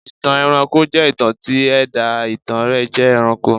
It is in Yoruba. ìtàn ẹranko jẹ́ ìtàn tí ẹ̀dá ìtàn rẹ̀ jẹ́ ẹranko.